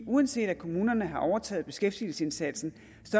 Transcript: uanset at kommunerne har overtaget beskæftigelsesindsatsen